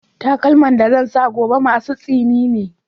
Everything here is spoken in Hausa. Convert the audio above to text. Takalman da zan saka gobe masu tsini ne